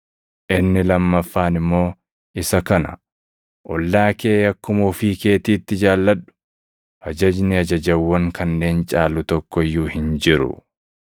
Inni lammaffaan immoo, isa kana; ‘Ollaa kee akkuma ofii keetiitti jaalladhu.’ + 12:31 \+xt Lew 19:18\+xt* Ajajni ajajawwan kanneen caalu tokko iyyuu hin jiru.”